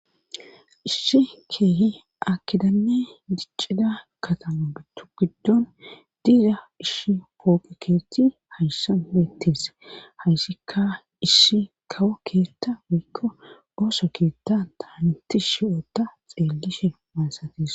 isshi keehi akidanne diccida katama gitu giddon diiza ishi poopiketi hayssan bettes hayssikka isshi kawo keetta wiikko ooso keetta taaniti shiyota xeellishe maasatis